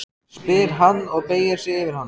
spyr hann og beygir sig yfir hana.